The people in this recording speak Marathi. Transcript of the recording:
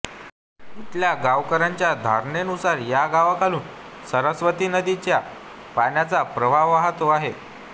इथल्या गावकऱ्यांच्या धारणेनुसार या गावांखालून सरस्वती नदीच्या पाण्याचा प्रवाह वाहतो आहे